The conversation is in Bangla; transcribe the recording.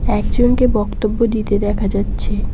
একজনকে বক্তব্য দিতে দেখা যাচ্ছে।